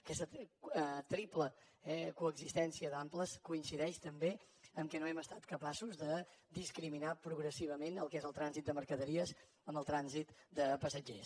aquesta triple coexistència d’amples coincideix també amb el fet que no hem estat capaços de discriminar progressivament el que és el trànsit de mercaderies del trànsit de passatgers